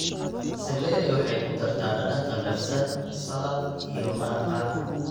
Seleri waxay ku dartaa dhadhan qallafsan saladh iyo maraqa.